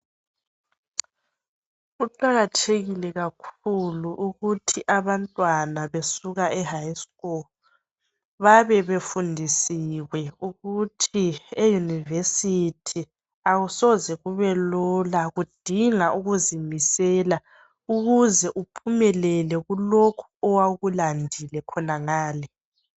Kuqakathekile kakhulu ukuthi abantwana besuka high school bayabe befundisiwe ukuthi eyunivesithi akusoze kubelula kudinga ukuzimisela ukuze uphumelele kulokhu owakulandile khona ngale.